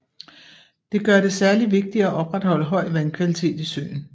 Det gør det særlig vigtigt at opretholde høj vandkvalitet i søen